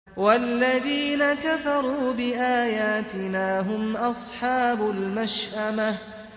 وَالَّذِينَ كَفَرُوا بِآيَاتِنَا هُمْ أَصْحَابُ الْمَشْأَمَةِ